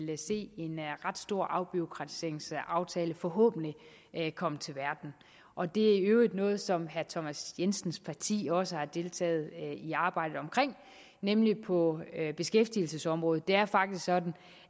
vil se en ret stor afbureaukratiseringsaftale forhåbentlig komme til verden og det er i øvrigt noget som herre thomas jensens parti også har deltaget i arbejdet omkring nemlig på beskæftigelsesområdet det er faktisk sådan